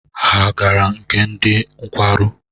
Ha agara nke ndị nkwarụ?